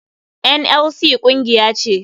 NLC kungiya ce.